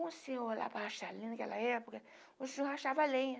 Um senhor lá para achar lenha naquela época, o senhor achava lenha.